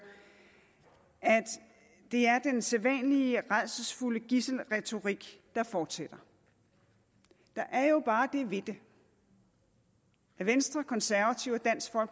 at det er den sædvanlige rædselsfulde gidselretorik der fortsætter der er jo bare det ved det at venstre konservative